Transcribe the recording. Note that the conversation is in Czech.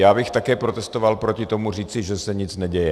Já bych také protestoval proti tomu říci, že se nic neděje.